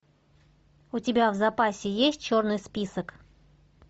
у тебя в запасе есть черный список